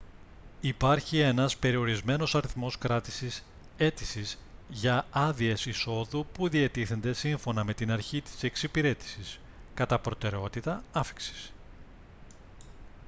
υπάρχει ένας περιορισμένος αριθμός κράτησης αίτησης για άδειες εισόδου που διατίθενται σύμφωνα με την αρχή της εξυπηρέτησης κατά προτεραιότητα άφιξης